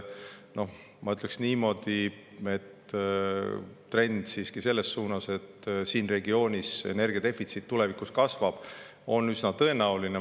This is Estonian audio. Ma ütleksin niimoodi, et trend selles suunas, et siin regioonis energia defitsiit tulevikus kasvab, on siiski üsna tõenäoline.